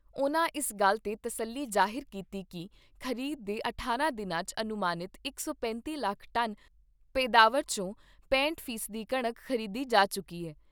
ਉਨ੍ਹਾਂ ਇਸ ਗੱਲ ਤੇ ਤਸੱਲੀ ਜਾਹਿਰ ਕੀਤੀ ਕਿ ਖ਼ਰੀਦ ਦੇ ਅਠਾਰਾਂ ਦਿਨਾਂ 'ਚ ਅਨੁਮਾਨਿਤ ਇਕ ਸੌ ਪੈਂਤੀ ਲੱਖ ਟਨ ਪੈਦਾਵਾਰ ਚੋਂ ਪੈਂਹਟ ਫੀਸਦੀ ਕਣਕ ਖ਼ਰੀਦੀ ਜਾ ਚੁੱਕੀ ਏ।